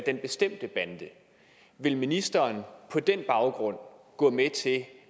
den bestemte bande vil ministeren på den baggrund gå med til